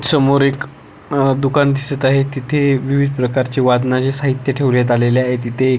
समोर एक अ दुकान दिसत आहे तिथे विविध प्रकारचे वादनाचे साहित्य ठेवण्यात आलेले आहे तिथे एक--